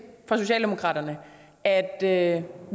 for socialdemokratiet at at